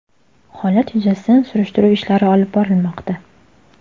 Holat yuzasidan surishtiruv ishlari olib bormoqda.